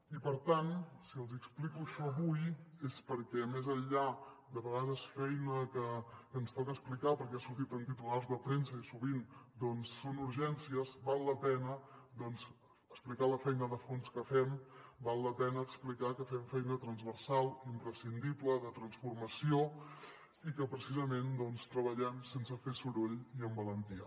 i per tant si els hi explico això avui és perquè més enllà de vegades de feina que ens toca explicar perquè ha sortit en titulars de premsa i sovint són urgències val la pena doncs explicar la feina de fons que fem val la pena explicar que fem feina transversal imprescindible de transformació i que precisament treballem sense fer soroll i amb valentia